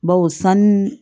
Baw sanu